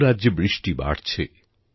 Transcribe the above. বহু রাজ্যে বৃষ্টি বাড়ছে